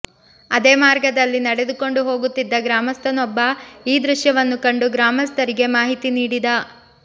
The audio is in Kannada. ಅದೇ ಮಾರ್ಗದಲ್ಲಿ ನಡೆದುಕೊಂಡು ಹೋಗುತ್ತಿದ್ದ ಗ್ರಾಮಸ್ಥನೊಬ್ಬ ಈ ದೃಶ್ಯವನ್ನು ಕಂಡು ಗ್ರಾಮಸ್ಥರಿಗೆ ಮಾಹಿತಿ ನೀಡಿದ